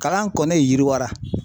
Kalan kɔni yiriwara